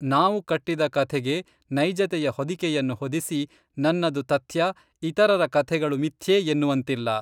ನಾವು ಕಟ್ಟಿದ ಕಥೆಗೆ ನೈಜತೆಯ ಹೊದಿಕೆಯನ್ನು ಹೊದಿಸಿ, ನನ್ನದು ತಥ್ಯ ಇತರರ ಕಥೆಗಳು ಮಿಥ್ಯೆಎನ್ನುವಂತಿಲ್ಲ.